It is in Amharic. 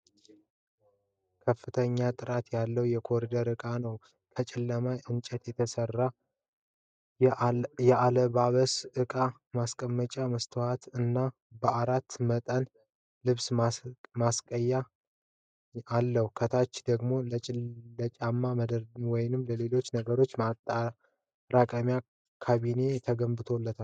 ከፍተኛ ጥራት ያለው የኮሪደር ዕቃ ነው። ከጨለማ እንጨት የተሰራ ነው። የአለባበስ ዕቃ ማስቀመጫ መስተዋት እና በአራት መንጠቆዎች ልብስ መስቀያ አለው። ከታች ደግሞ ለጫማ ወይም ለሌሎች ነገሮች የማጠራቀሚያ ካቢኔት ተገንብቷል።